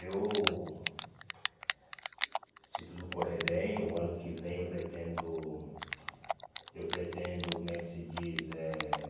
Eu... Se tudo correr bem, o ano que vem eu pretendo... Eu pretendo, como é que se diz? Eh